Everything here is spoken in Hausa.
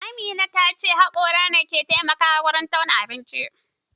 Amina ta ce haƙora ke taimako wurin tauna abinci